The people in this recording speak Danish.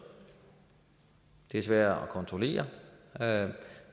det er sværere at kontrollere